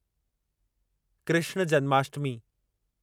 Krishna Janmashtami